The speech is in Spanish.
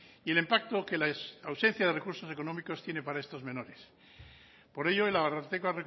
y el impacto que la ausencia de recursos económicos tiene para estos menores por ello el ararteko